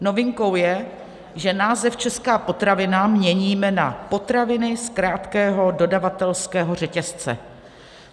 Novinkou je, že název česká potravina měníme na potraviny z krátkého dodavatelského řetězce.